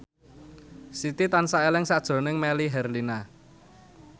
Siti tansah eling sakjroning Melly Herlina